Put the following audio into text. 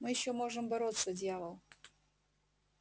мы ещё можем бороться дьявол